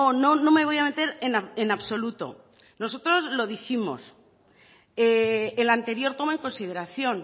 no no me voy a meter en absoluto nosotros lo dijimos el anterior toma en consideración